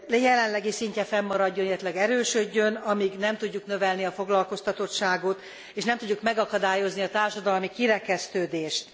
jelenlegi szintje fennmaradjon, illetőleg erősödjön, amíg nem tudjuk növelni a foglalkoztatottságot és nem tudjuk megakadályozni a társadalmi kirekesztődést.